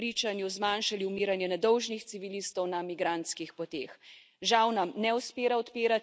Ti bi po mojem trdnem prepričanju zmanjšali umiranje nedolžnih civilistov na migrantskih poteh.